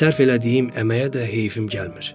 Sərf elədiyim əməyə də heyfim gəlmir.